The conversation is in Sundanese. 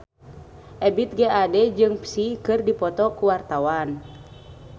Ebith G. Ade jeung Psy keur dipoto ku wartawan